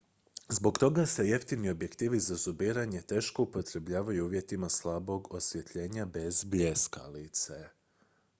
zbog toga se jeftini objektivi za zumiranje teško upotrebljavaju u uvjetima slabog osvjetljenja bez bljeskalice